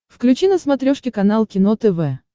включи на смотрешке канал кино тв